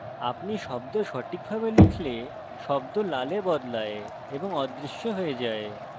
আপনি শব্দ সঠিকভাবে লিখলে শব্দ লালে বদলায় এবং অদৃশ্য হয়ে যায়